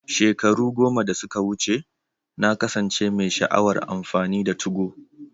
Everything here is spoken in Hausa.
Shekaru goma da suka wuce, na kasance mai sha'awar amfani da 2go.